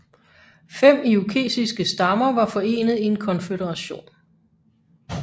Fem irokesiske stammer var forenet i en konføderation